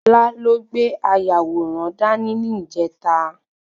Fola ló gbé ayàwòrán dá ní, ni ìjẹta